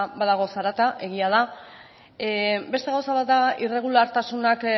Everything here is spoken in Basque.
badago zarata egia da beste gauza bat da irregulartasunak